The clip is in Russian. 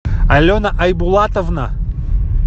алена айбулатовна